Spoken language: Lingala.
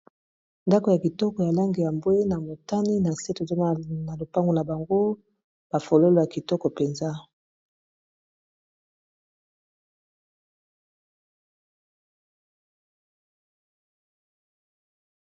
Ndako ya kitoko, ya langi ya mbwe na motani. Na se, tozo mona lopango na bango. Ba fololo ya kitoko mpenza.